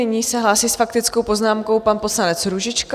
Nyní se hlásí s faktickou poznámkou pan poslanec Růžička.